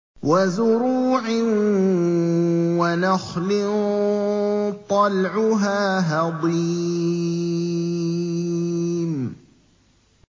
وَزُرُوعٍ وَنَخْلٍ طَلْعُهَا هَضِيمٌ